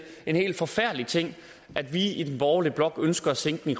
en helt forfærdelig ting at vi i den borgerlige blok ønsker at sænke den